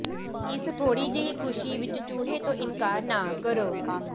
ਇਸ ਥੋੜ੍ਹੀ ਜਿਹੀ ਖੁਸ਼ੀ ਵਿੱਚ ਚੂਹੇ ਤੋਂ ਇਨਕਾਰ ਨਾ ਕਰੋ